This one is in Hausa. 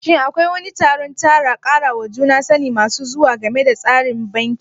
Shin Akwai wani taron karawa juna sani masu zuwa game da tsarin banki?